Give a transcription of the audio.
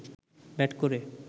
bat করে